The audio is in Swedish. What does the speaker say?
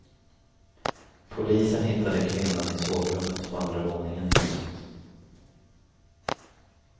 Polisen hittade kvinnan i sovrummet på andra våningen i huset.